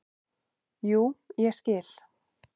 """Jú, ég skil."""